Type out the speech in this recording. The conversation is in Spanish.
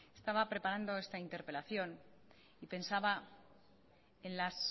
estaba preparando esta interpelación y pensaba en las